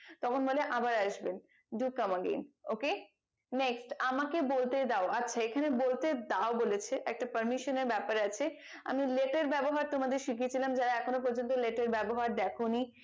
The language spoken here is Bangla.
তখন বলে আবার আসবেন do come again ok next আমাকে বলতে দাও আচ্ছা এখানে বলতে দাও বলেছে একটা parmesan এর ব্যাপার আছে আমি let এর ব্যবহার তোমাদের শিখিয়ে ছিলাম যারা এখনো পর্যন্ত let এর ব্যবহার দেখোনি